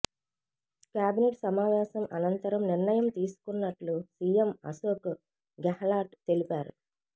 cabinet సమావేశం అనంతరం నిర్ణయం తీసుకున్నట్లు సీఎం అశోక్ గెహ్లాట్ తెలిపారు